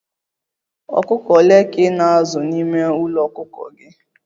ọkụkọ ole ka ị na-azụ n'ime ụlọ ọkụkọ gị?